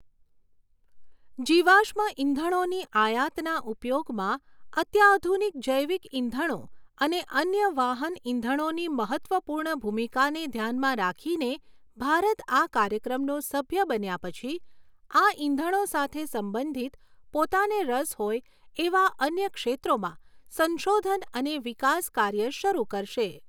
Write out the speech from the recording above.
જીવાશ્મ ઇંધણોની આયાતના ઉપયોગમાં અત્યાધુનિક જૈવિક ઇંધણો અને અન્ય વાહન ઇંધણોની મહત્ત્વપૂર્ણ ભૂમિકાને ધ્યાનમાં રાખીને ભારત આ કાર્યક્રમનો સભ્ય બન્યાં પછી આ ઇંધણો સાથે સંબંધિત પોતાને રસ હોય એવા અન્ય ક્ષેત્રોમાં સંશોધન અને વિકાસ કાર્ય શરૂ કરશે.